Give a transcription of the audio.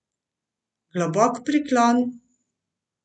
Globok priklon!